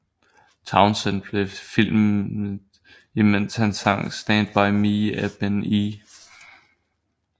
Townsend blev filmet imens han sang Stand By Me af Ben E